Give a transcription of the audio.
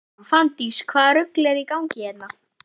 Fanndís: Hvaða rugl er í gangi hérna?